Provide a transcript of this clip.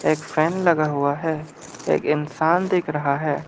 एक फैन लगा हुआ है एक इंसान दिख रहा है।